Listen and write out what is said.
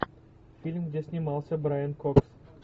фильм где снимался брайан кокс